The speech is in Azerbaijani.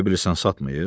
Elə bilirsən satmayıb?